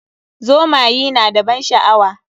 Zomayi na da ban sha'awa.